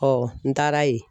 n taara ye